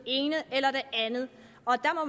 andet